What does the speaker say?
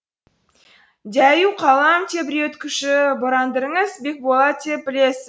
дәю қалам тебіреткуші бырадарыңыз бекболат деп білесіз